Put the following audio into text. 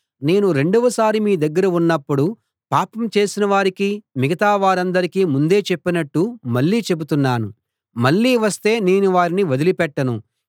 నేను రెండవసారి మీ దగ్గర ఉన్నపుడు పాపం చేసిన వారికీ మిగతా వారందరికీ ముందే చెప్పినట్టు మళ్ళీ చెబుతున్నాను మళ్ళీ వస్తే నేను వారిని వదిలి పెట్టను